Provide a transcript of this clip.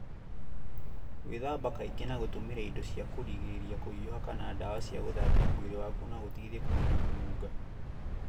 Gwĩthamba kaingĩ na gũtũmĩra indo cia kũrigĩrĩria kũhiuha kana dawa cia gũthambia mwĩrĩ waku no gũteithie kũnina kũnunga.